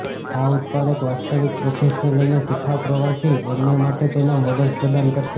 આ ઉત્પાદક વાસ્તવિક પ્રોફેશનલ અને શિખાઉ પ્રવાસી બંને માટે તેના મોડલ્સ પ્રદાન કરશે